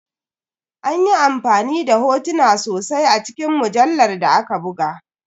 An yi amfani da hotuna sosai a cikin mujallar da aka buga.